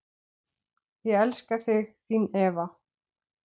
Ég elska þig, þín Eva.